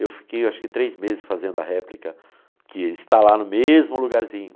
Eu fiquei, eu acho que três meses fazendo a réplica, que ele está lá no mesmo lugarzinho.